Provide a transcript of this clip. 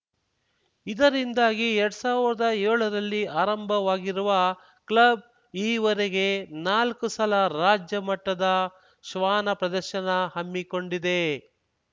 ಇದರಿಂದಾಗಿ ಎರಡ್ ಸಾವಿರ್ದಾ ಏಳರಲ್ಲಿ ಆರಂಭವಾಗಿರುವ ಕ್ಲಬ್‌ ಈವರೆಗೆ ನಾಲ್ಕು ಸಲ ರಾಜ್ಯಮಟ್ಟದ ಶ್ವಾನ ಪ್ರದರ್ಶನ ಹಮ್ಮಿಕೊಂಡಿದೆ